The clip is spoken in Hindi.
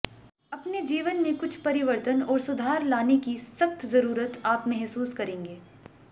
अपने जीवन में कुछ परिवर्तन और सुधार लाने की सख्त जरूरत आप महसूस करेंगे